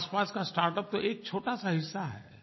के आसपास का स्टार्टअप तो एक छोटा सा हिस्सा है